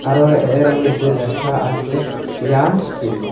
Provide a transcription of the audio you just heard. আরো এর মইধ্যে লেখা আছে সিয়াম স্টিল ।